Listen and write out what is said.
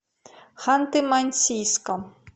ханты мансийском